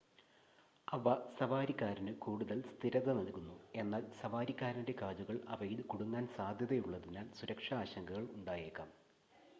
അവ സവാരിക്കാരന് കൂടുതൽ സ്ഥിരത നൽകുന്നു എന്നാൽ സവാരിക്കാരൻ്റെ കാലുകൾ അവയിൽ കുടുങ്ങാൻ സാധ്യതയുള്ളതിനാൽ സുരക്ഷാ ആശങ്കകൾ ഉണ്ടായേക്കാം